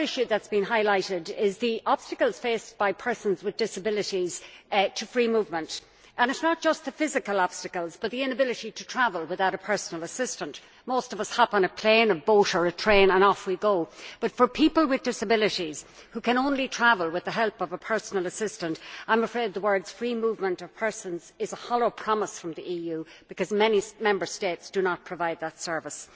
Another issue that has been highlighted is the obstacles faced by persons with disabilities to free movement and it is not just the physical obstacles but the inability to travel without a personal assistant. Most of us hop on a plane, a boat or a train and off we go, but for people with disabilities who can only travel with the help of a personal assistant, I am afraid the phrase free movement of persons' is a hollow promise from the EU because many Member States do not provide that service.